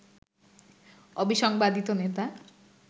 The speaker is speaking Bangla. অবিসংবাদিত নেতা